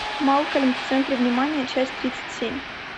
малкольм в центре внимания часть тридцать семь